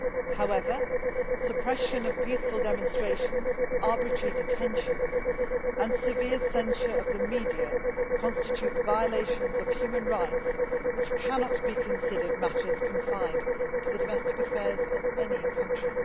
However, suppression of peaceful demonstrations, arbitrary detentions and severe censorship of the media constitute violations of human rights which cannot be considered matters confined to the domestic affairs of any country.